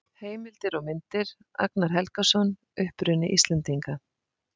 Heimildir og myndir: Agnar Helgason: Uppruni Íslendinga.